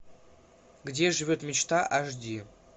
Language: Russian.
где живет мечта аш ди